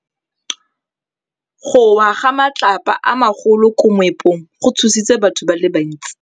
Go wa ga matlapa a magolo ko moepong go tshositse batho ba le bantsi.